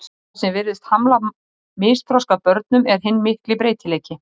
Það sem virðist hamla misþroska börnum er hinn mikli breytileiki.